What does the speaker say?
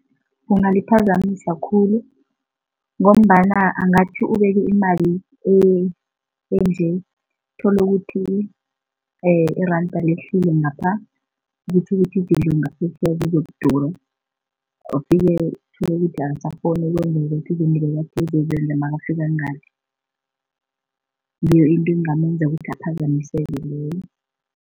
Kungaliphazamisa khulu ngombana angathi ubeke imali enje, uthole ukuthi iranda lehlile ngapha, okutjho ukuthi izinto ngaphetjheya zizokudura uthole ukuthi akasakghoni ukwenzeka zoke izinto ebekathi uzozenza nakafika ngale, ngiyo into engamenza ukuthi aphazamiseke leyo.